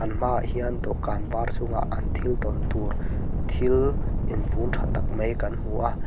an hmaah hian dawhkan var chungah an thil dawn tur thil infun tha tak mai kan hmu a.